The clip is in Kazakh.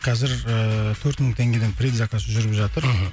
қазір ыыы төрт мың теңгеден предзаказ жүріп жатыр мхм